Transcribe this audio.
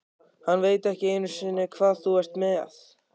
Hann veit ekki einu sinni hvað þú ert með.